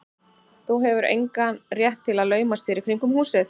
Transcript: Þú hefur engan rétt til að laumast hér í kringum húsið.